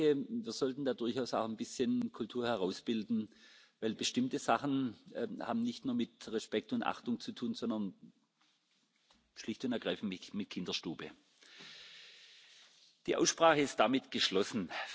Ich denke, wir sollten da durchaus ein bisschen Kultur herausbilden. Denn bestimmte Sachen haben nicht nur mit Respekt und Achtung zu tun, sondern schlicht und ergreifend mit Kinderstube. Die Aussprache ist geschlossen.